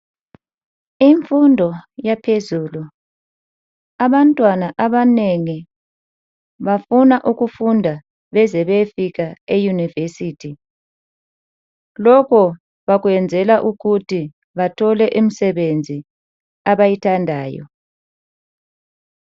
Imfundo yaphezulu. Abantwana abanengi bafuna ukufunda beze bayefika eyunivesithi. Lokhu bakwenzela ukuthi bathole imisebenzi abayithandayo.